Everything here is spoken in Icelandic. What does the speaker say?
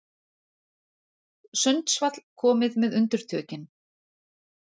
Sundsvall komið með undirtökin